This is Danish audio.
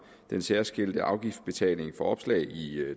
den særskilte afgiftsbetaling for opslag i